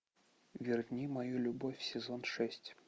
верни мою любовь сезон шесть